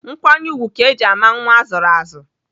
Nkwanye ùgwù ka eji ama nwa azụrụ azụ.